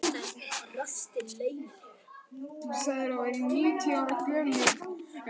Hún þorir og það var tími kominn til.